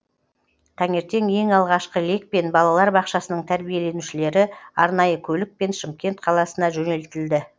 таңертең ең алғашқы лекпен балалар бақшасының тәрбиленушілері арнайы көлікпен шымкент қаласына жөнелтілді